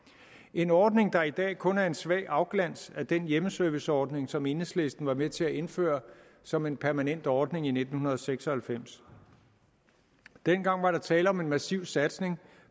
en ordning der i dag kun er en svag afglans af den hjemmeserviceordning som enhedslisten var med til at indføre som en permanent ordning i nitten seks og halvfems dengang var der tale om en massiv satsning